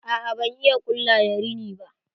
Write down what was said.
A'a ban iya ƙulla da rina ba.